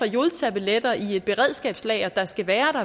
jodtabletter i et beredskabslager der skal være